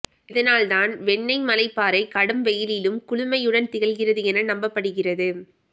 இதனால் தான் வெண்ணெய்மலை பாறை கடும் வெயிலிலும் குளுமையுடன் திகழ்கிறது என நம்பப்படுகிறது